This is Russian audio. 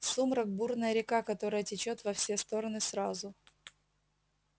сумрак бурная река которая течёт во все стороны сразу